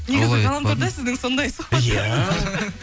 негізі ғаламторда сіздің сондай сұхбаттырыңыз иә